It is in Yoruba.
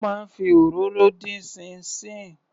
Wọ́n máa ń fi òróró dín ṣíín ṣiìn.